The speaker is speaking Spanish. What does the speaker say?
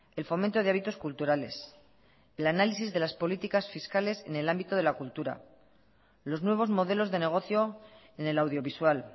el fomento de hábitos culturales el análisis de las políticas fiscales en el ámbito de la cultura los nuevos modelos de negocio en el audiovisual